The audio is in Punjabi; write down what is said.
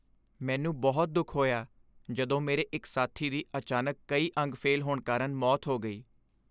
ਮੈਨੂੰ ਬਹੁਤ ਦੁੱਖ ਹੋਇਆ ਜਦੋਂ ਮੇਰੇ ਇੱਕ ਸਾਥੀ ਦੀ ਅਚਾਨਕ ਕਈ ਅੰਗ ਫੇਲ੍ਹ ਹੋਣ ਕਾਰਨ ਮੌਤ ਹੋ ਗਈ।